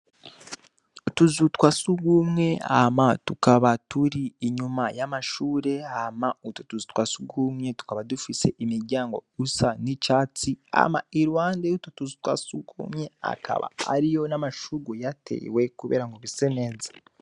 Utuzu twa sugumwe hama tukaba turi inyuma y'amashure, hama utwo tuzu twasugumwe tukaba dufise imiryango isa n'icatsi , hama iruhande y'utwo tuzu twasugumwe hakaba hariho n'amashurwe ahatewe kugirango hase neza.